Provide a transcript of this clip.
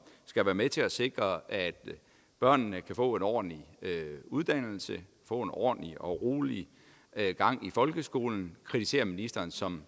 skal være med til at sikre at børnene kan få en ordentlig uddannelse få en ordentlig og rolig gang i folkeskolen kritiserer ministeren som